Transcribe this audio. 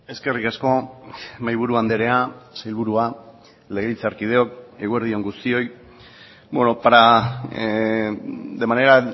eskerrik asko mahaiburu andrea sailburua legebiltzarkideok eguerdi on guztioi de manera